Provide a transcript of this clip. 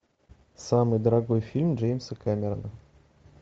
самый дорогой фильм джеймса кэмерона